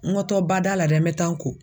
N waatɔ bada la dɛ n bɛ taa n ko